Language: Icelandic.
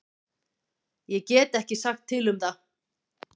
Ég get ekki sagt til um það.